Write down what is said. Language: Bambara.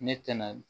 Ne tɛna